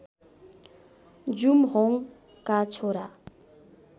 जुमहोङका छोरा